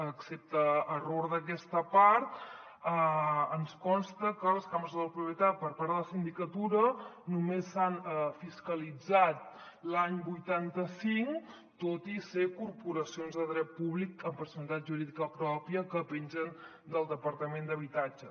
excepte error d’aquesta part ens consta que les cambres de la propietat per part de la sindicatura només s’han fiscalitzat l’any vuitanta cinc tot i ser corporacions de dret públic amb personalitat jurídica pròpia que pengen del departament d’habitatge